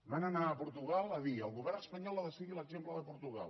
van anar a portugal a dir el govern espanyol ha de seguir l’exemple de portugal